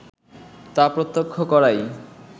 তা প্রত্যক্ষ করাই